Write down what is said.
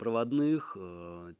проводных